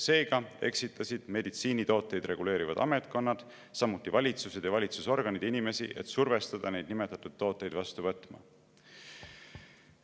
Seega eksitasid meditsiinitooteid reguleerivad ametkonnad, samuti valitsused ja valitsusorganid inimesi, et survestada neid nimetatud tooteid vastu võtma.